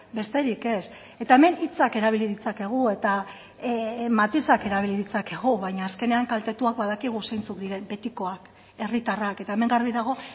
besterik ez eta hemen hitzak erabili ditzakegu eta matizak erabili ditzakegu baina azkenean kaltetuak badakigu zeintzuk diren betikoak herritarrak eta hemen garbi dago